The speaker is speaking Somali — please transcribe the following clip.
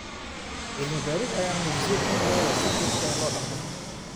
Cilmi baaris ayaa muujisay in lo'da si joogto ah loo dhaqdo.